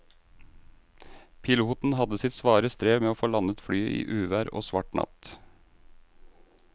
Piloten hadde sitt svare strev med å få landet flyet i uvær og svart natt.